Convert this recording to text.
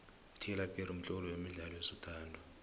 utylor perry mtloli wemidlalo wezothando